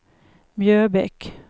Mjöbäck